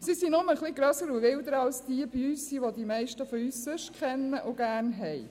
Sie sind nur etwas grösser und wilder als die «Büsi», die die meisten von uns kennen und sonst gerne haben.